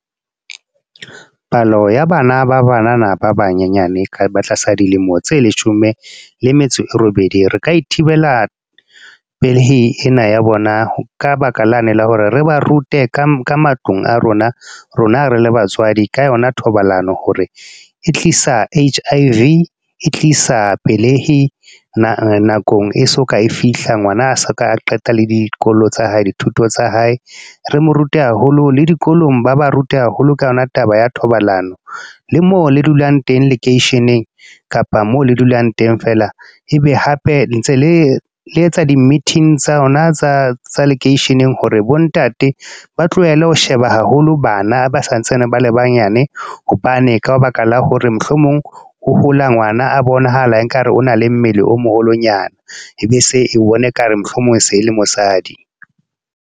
Palo ya bana ba banana, ba banyenyane ba tlasa dilemo tse leshome le metso e robedi. Re ka e thibela, pelehi ena ya bona. Ka baka lane la hore re ba rute ka matlung a rona, rona re le batswadi. Ka yona thobalano hore e tlisa H_I_V, tlisa pelehi, nakong e so ka e fihla. Ngwana a so ka qeta le dikolo tsa hae, dithuto tsa hae. Re mo rute haholo le dikolong, ba ba rute haholo ka yona taba ya thobalano. Le moo le dulang teng lekeisheneng, kapa moo le dulang teng fela. Ebe hape ntse le le etsa di-meeting tsa rona tsa lekeisheneng. Hore bo ntate ba tlohele ho sheba haholo bana ba santsane ba le banyane. Hobane ka baka la hore mohlomong, o hola ngwana a bonahala ekare o na le mmele o moholonyana e be se bone ekare mohlomong se le mosadi.